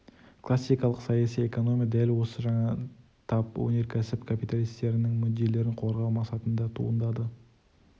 классикалық саяси экономия дәл осы жаңа тап өнеркәсіп капиталистерінің мүдделерін қорғау мақсатында туындады